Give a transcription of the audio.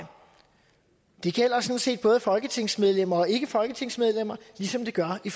det gælder sådan set både folketingsmedlemmer og ikkefolketingsmedlemmer ligesom det gør i